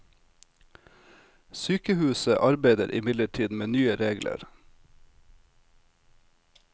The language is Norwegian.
Sykehuset arbeider imidlertid med nye regler.